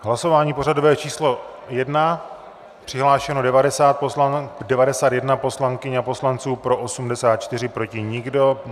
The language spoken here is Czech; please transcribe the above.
Hlasování pořadové číslo 1, přihlášeno 91 poslankyň a poslanců, pro 84, proti nikdo.